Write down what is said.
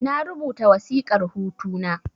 Na rubuta wasiƙar hutu na